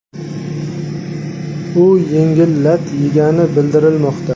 U yengil lat yegani bildirilmoqda.